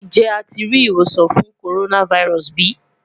Njẹ a ti ri iwosan fun coronavirus bi?